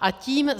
A tím